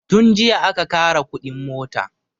Tun jiya aka ƙara kuɗin mota